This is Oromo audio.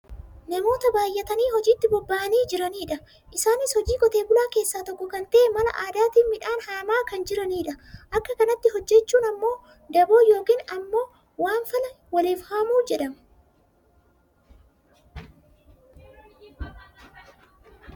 namoota baayyatanii hojiitti boba'anii jiranidha. Isaanis hojii qote bulaa keessaa tokko kan ta'e mala aadaatiin midhaan haamaa kan jiranidha. Akka kanatti hojjachuun ammoo dabo yookaan ammoo waanfala waliif haamuu jedhama.